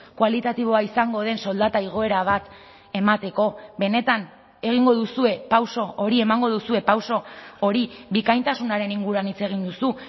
kualitatiboa izango den soldata igoera bat emateko benetan egingo duzue pauso hori emango duzue pauso hori bikaintasunaren inguruan hitz egin duzu